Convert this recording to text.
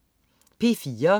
P4: